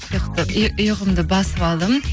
ұйқымды басып алдым